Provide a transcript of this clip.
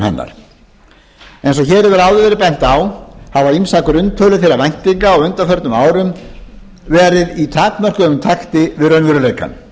hennar eins og hér hefur áður verið bent á hafa ýmsar grunntölur þeirra væntinga á undanförnum árum verið í takmörkuðum takti við raunveruleikann